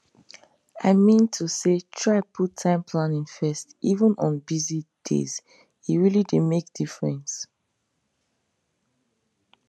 i mean to say try put time planning first even on busy dayse really dey make difference